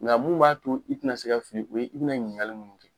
Nga mun b'a to i te na se ka fili, o ye i be na ɲininkali munnu kɛ.